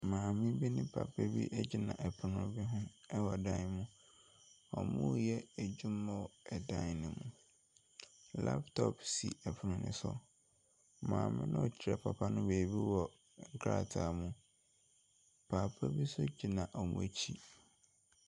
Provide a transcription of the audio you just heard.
Maame bi ne papa bi gyina pono bi ho wɔ dan mu. Wɔreyɛ adwuma wɔ dan no mu. Laptop si pono no so. Maame no rekyerɛ papa no biribi wɔ krataa mu. Papa bi nso gyina wɔn akyi.